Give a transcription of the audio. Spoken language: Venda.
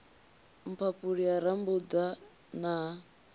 mphaphuli ha rambuḓa na ha